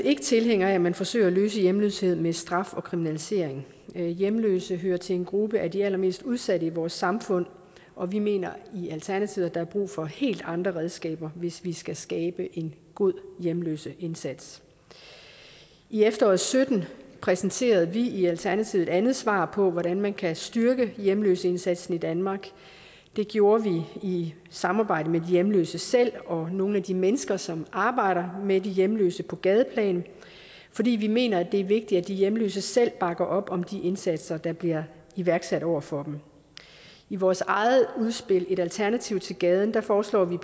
ikke tilhænger af at man forsøger at løse hjemløshed med straf og kriminalisering hjemløse hører til en gruppe af de allermest udsatte i vores samfund og vi mener i alternativet at der er brug for helt andre redskaber hvis vi skal skabe en god hjemløseindsats i efteråret sytten præsenterede vi i alternativet et andet svar på hvordan man kan styrke hjemløseindsatsen i danmark det gjorde vi i samarbejde med de hjemløse selv og nogle af de mennesker som arbejder med de hjemløse på gadeplan fordi vi mener at det er vigtigt at de hjemløse selv bakker op om de indsatser der bliver iværksat over for dem i vores eget udspil et alternativ til gaden foreslår vi